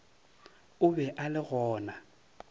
o be a le gona